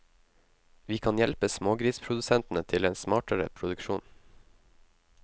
Vi kan hjelpe smågrisprodusentene til en smartere produksjon.